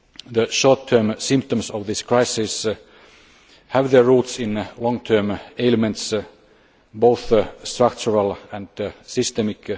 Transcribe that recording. The short term symptoms of this crisis have their roots in long term ailments, both structural and systemic.